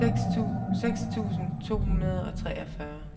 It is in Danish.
seks tusind to hundrede og treogfyrre